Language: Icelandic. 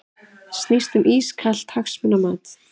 Snýst um ískalt hagsmunamat